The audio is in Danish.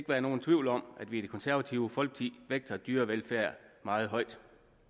være nogen tvivl om at vi i det konservative folkeparti vægter dyrevelfærd meget højt